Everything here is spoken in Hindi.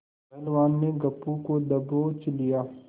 पहलवान ने गप्पू को दबोच लिया